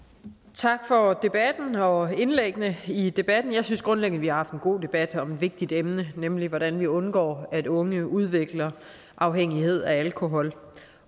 tak for debatten og for indlæggene i debatten jeg synes grundlæggende vi har haft en god debat om et vigtigt emne nemlig hvordan vi undgår at unge udvikler afhængighed af alkohol